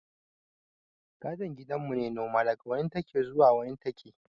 Gadon gidan mu ne noma, daga wani take zuwa wani take